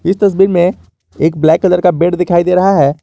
इस तस्वीर में एक ब्लैक कलर का बेड दिखाई दे रहा है।